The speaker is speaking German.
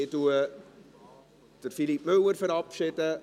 Ich verabschiede Philippe Müller.